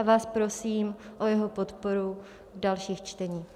A vás prosím o jeho podporu v dalších čteních.